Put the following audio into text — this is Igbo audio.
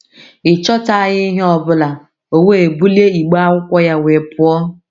Ị chọtaghị ihe ọ bụla, o we bulie igbe akwụkwọ ya wee pụọ!